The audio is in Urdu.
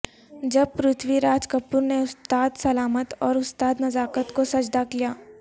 جب پرتھوی راج کپور نے استاد سلامت اور استاد نزاکت کو سجدہ کیا